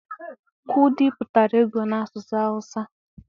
kwụdi pụtara ego n'asụsụ awụsa.